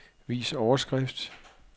Vis overskrift.